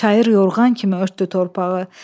Çayır yorğan kimi örtdü torpağı.